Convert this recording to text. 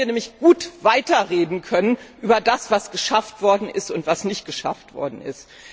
Da hätten wir nämlich gut weiterreden können über das, was geschafft worden ist und was nicht geschafft worden ist.